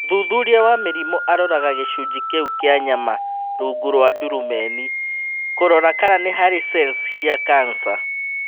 Mũthuthuria wa mĩrimũ aroraga gĩcunjĩ kĩu kĩa nyama rungu rwa ndurumeni kũrora kana nĩ harĩ cells cia kanca.